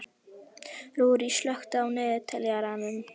Rúrí, slökktu á niðurteljaranum.